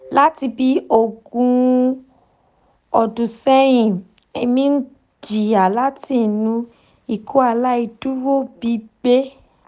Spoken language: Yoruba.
lati bi ogun odun sehin emi n jiya lati inu ikọaláìdúró gbigbẹ